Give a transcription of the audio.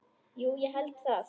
Jú ég held það.